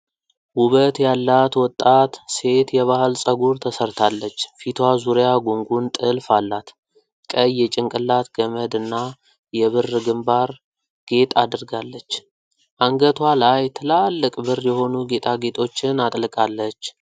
ውበት ያላት ወጣት ሴት የባህል ፀጉር ተሰርታለች። ፊቷ ዙሪያ ጉንጉን ጥልፍ አላት። ቀይ የጭንቅላት ገመድ እና የብር ግምባር ጌጥ አድርጋለች። አንገቷ ላይ ትላልቅ ብር የሆኑ ጌጣጌጦችን አጥልቃለች።